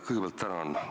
Kõigepealt tänan!